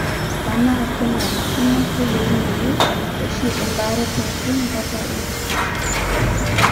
Tenaa kenarikino, keyieunoyu oshi embaare pooki kata enkishui.